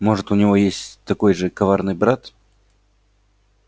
может у него есть такой же коварный брат